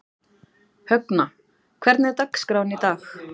Högna, hvernig er dagskráin í dag?